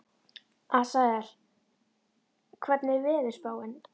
Asael, hvernig er veðurspáin?